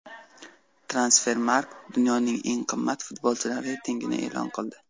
Transfermarkt dunyoning eng qimmat futbolchilari reytingini e’lon qildi.